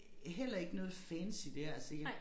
Heller ikke noget fancy dér altså jeg